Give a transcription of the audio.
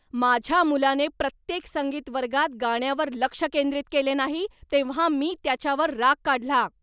माझ्या मुलाने प्रत्येक संगीत वर्गात गाण्यावर लक्ष केंद्रित केले नाही तेव्हा मी त्याच्यावर राग काढला.